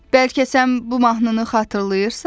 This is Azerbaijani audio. Bəlkə sən bu mahnını xatırlayırsan?